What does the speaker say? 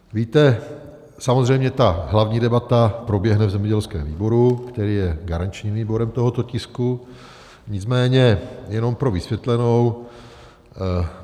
Víte, samozřejmě ta hlavní debata proběhne v zemědělském výboru, který je garančním výborem tohoto tisku, nicméně jenom pro vysvětlenou.